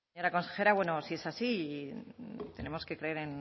señora consejera bueno si es así y tenemos que creer